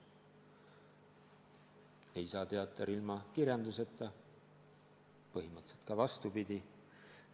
Ei saa teater ilma kirjanduseta, põhimõtteliselt ka vastupidi.